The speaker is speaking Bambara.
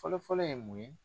Fɔlɔfɔlɔ ye mun ye.